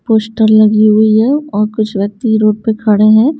Poster लगी हुई है और कुछ व्यक्ति रोड पे खड़े हैं।